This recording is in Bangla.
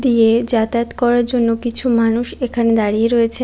দিয়ে যাতায়াত করার জন্য কিছু মানুষ এখানে দাঁড়িয়ে রয়েছে।